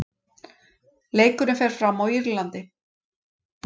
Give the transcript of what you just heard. Leikurinn fer fram á Írlandi.